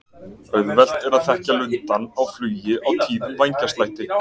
Auðvelt er að þekkja lundann á flugi á tíðum vængjaslætti.